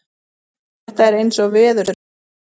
Þetta er eins og veðurspáin